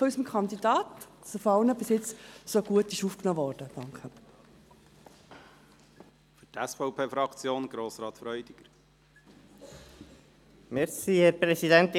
Vielen Dank für die Unterstützung unseres Kandidaten und dafür, dass er bis jetzt von allen so gut aufgenommen wurde.